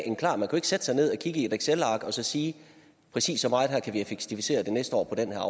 sætte sig ned og kigge i et excelark og så sige præcis så meget kan vi effektivisere det næste år på den her